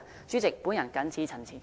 主席，我謹此陳辭。